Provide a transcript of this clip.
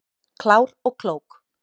Klár og klók